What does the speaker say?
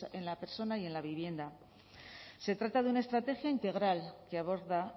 en la persona y en la vivienda se trata de una estrategia integral que aborda